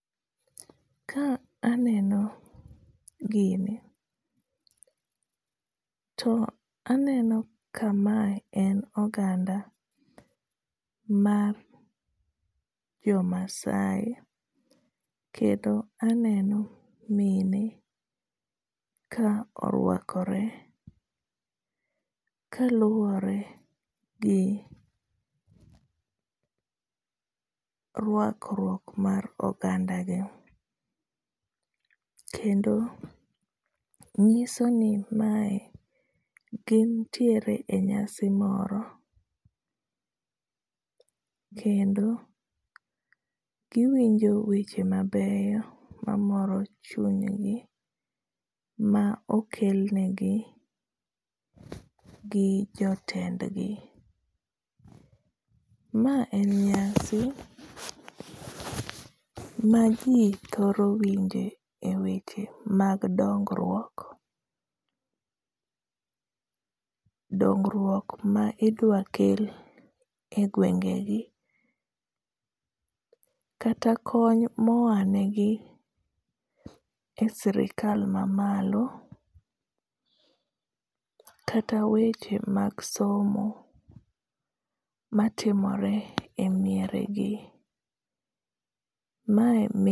Ka aneno gini, to aneno kamae en oganda mar jo Maasai, kendo aneno mine ka orwakore ka luwore gi rwakruok mar ogandagi. Kendo nyiso ni mae gin ntiere e nyasi moro, kendo giwinjo weche mabeyo mamoro chunygi, ma okelnegi gi jotendgi. Ma en nyasi ma ji thoro winjo e weche mag dongruok. Dongruok ma idwa kel e gwenge gi. Kata kony ma oa negi e sirkal ma malo. Kata weche mag somo matimore e miere gi. Mae